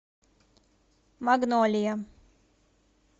магнолия